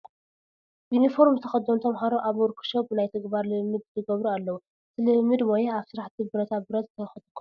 ዩኒፎርም ዝተኸደኑ ተመሃሮ ኣብ ዎርክ ሾፕ ናይ ተግባር ልምምድ ይገብሩ ኣለዉ፡፡ እቲ ልምምድ ሞያ ኣብ ስራሕቲ ብረታ ብረት ዘተኾረ እዩ፡፡